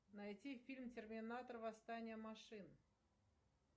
найти фильм терминатор восстание машин